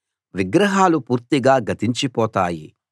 విగ్రహాలు పూర్తిగా గతించిపోతాయి